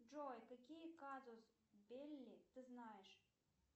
джой какие казус белли ты знаешь